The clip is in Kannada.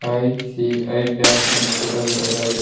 ಐ_ಸಿ_ಐ ಬ್ಯಾಂಕ್ ಅಂತ್ ಕೂಡ ಬರೆಯಲಾಗಿದೆ.